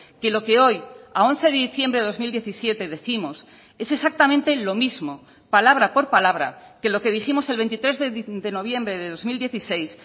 que lo que hoy a once de diciembre de dos mil diecisiete décimos es exactamente lo mismo palabra por palabra que lo que dijimos el veintitrés de noviembre de dos mil dieciséis